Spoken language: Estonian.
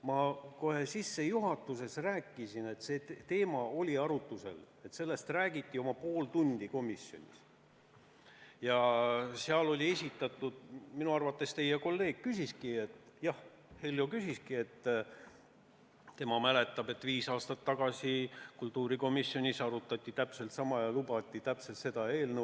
Ma kohe sissejuhatuses rääkisin, et see teema oli arutlusel, et sellest räägiti oma pool tundi komisjonis ja seal minu arvates teie kolleeg ütleski – jah, Heljo ütleski –, et tema mäletab, et viis aastat tagasi kultuurikomisjonis arutati täpselt sama teemat ja lubati sedasama eelnõu.